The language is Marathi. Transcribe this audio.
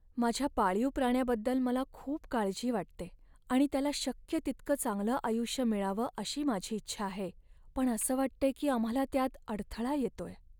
माझ्या पाळीव प्राण्याबद्दल मला खूप काळजी वाटते आणि त्याला शक्य तितकं चांगलं आयुष्य मिळावं अशी माझी इच्छा आहे, पण असं वाटतंय की आम्हाला त्यात अडथळा येतोय.